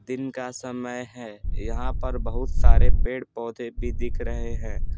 दिन का समय है यहां पर बहुत सारे पेड़-पौधे भी दिख रहे हैं।